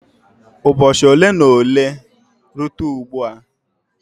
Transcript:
Ụbọchị ole na ole site ugbu a ose ga-acha uhie uhie ma chara acha.